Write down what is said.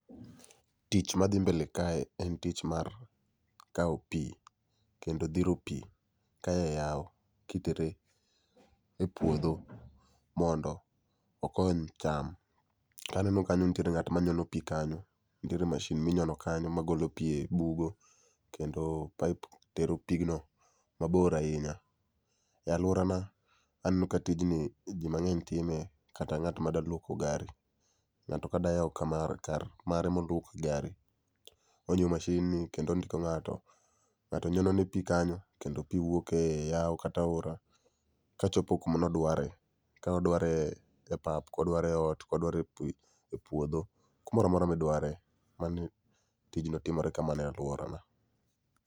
Tich madhi mbele kae en tich mar kao pii kendo dhiro pii kaya e yao kitere e puodho mondo okony cham. Taneno kanyo nitiere ng'at manyono pii kanyo, nitiere mashin minyono magolo pii e bugo kendo pipe tero pigno mabor ahinya.E aluora na aneno ka tijni jii mang'eny time kata ng'at madwa luoko gari.Ng'ato ka dwa yao kar mare mar loko gari, onyiew mashin ni kendo ondiko ng'ato. Ngato nyono ne pii kanyo kendo pii wuoke yao kata aiora kachopo kumane odware. Ka odware e pap, kodware e ot, kodware e puodho, kumoro amora modware, mano tijno timore kamano e aluora na